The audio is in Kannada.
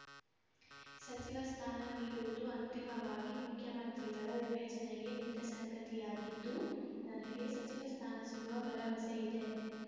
ಸಚಿವ ಸ್ಥಾನ ನೀಡುವುದು ಅಂತಿಮವಾಗಿ ಮುಖ್ಯಮಂತ್ರಿಗಳ ವಿವೇಚನೆಗೆ ಬಿಟ್ಟಸಂಗತಿಯಾಗಿದ್ದು ನನಗೆ ಸಚಿವ ಸ್ಥಾನ ಸಿಗುವ ಭರವಸೆ ಇದೆ